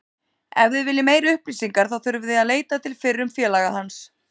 Ef þið viljið meiri upplýsingar þá þurfið þið að leita til fyrrum félags hans.